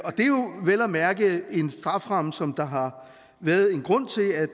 vel at mærke en strafferamme som der har været en grund til at